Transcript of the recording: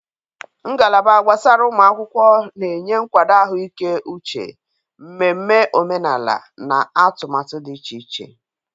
Ngalaba gbasara ụmụ akwụkwọ na-enye nkwado ahụike uche, mmemme omenala, na atụmatụ dị iche iche.